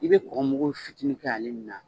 I be kɔkɔ mugu fitinin kɛ ale min na